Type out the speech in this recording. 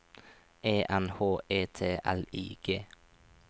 E N H E T L I G